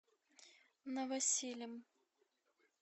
новосилем